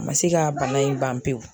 A ma se ka bana in ban pewu.